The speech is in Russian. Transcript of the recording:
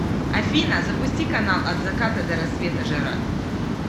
афина запусти канал от заката до рассвета жара